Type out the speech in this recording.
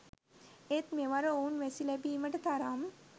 ඒත් මෙවර ඔවුන් වැසි ලැබීමට තරම්